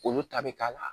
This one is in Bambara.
Olu ta bi k'a la